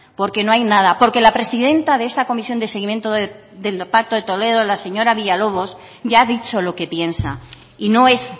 porque no hay nada porque la presidenta de esa comisión de seguimiento del pacto de toledo la señora villalobos ya ha dicho lo que piensa y no es